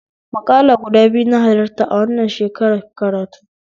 Maƙala gudu biyu na halarta a wannan shekarar karatu